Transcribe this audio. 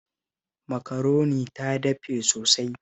Makaronin ta dafe sosai